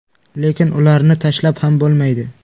Lekin ularni tashlab ham bo‘lmaydi.